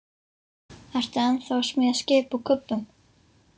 Ertu ennþá að smíða skip úr kubbum?